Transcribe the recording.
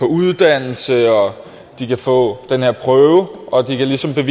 uddannelse at de kan få den her prøve og at de ligesom kan